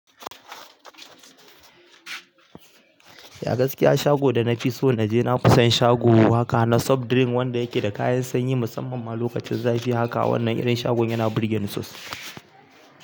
Ya gaskiya shago da na fi so na je na fison shago haka na soft drink wanda yake da kayan sanyi musamman ma lokacin zafi haka wannan irin shagon yana burge ni sosai.